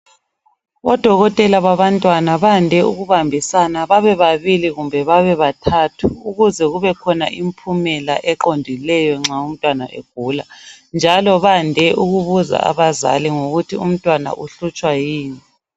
Odokotela babantwana bande ukubambisana babebabili kumbe babebathathu ukuze kubekhona impumela eqondileyo nxa umntwana egula njalo bande ukubuza abazali ukuthi umntwana uhlutshwa ngokuyini